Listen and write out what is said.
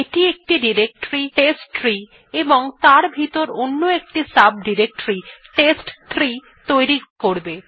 এটি একটি ডিরেক্টরী টেস্টট্রি এবং তার ভিতর অন্য একটি সাব ডিরেক্টরী টেস্ট3 তৈরি করবে